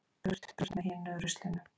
Burt burt með hinu ruslinu.